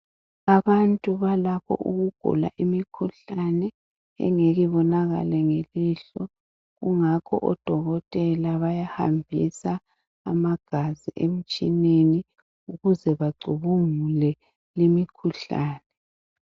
abantu balapho okugulwa imikhuhlane engeke ibonakale ngamehlo kungakho odokotela bayahambisa amagazi emtshineni ukuze bacubungule